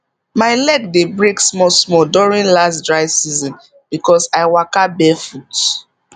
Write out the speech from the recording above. my leg dey break small small during last dry season because i waka barefoot